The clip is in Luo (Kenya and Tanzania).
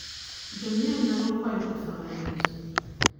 Jonyiewo nyalo kwayo pesa mayot.